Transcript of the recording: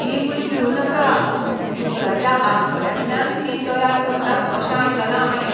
ती गुळी गिळूं नाका. दुकराच्या आंतकड्यांतल्यान ती तयार करतात अशें आयकलां हांवें.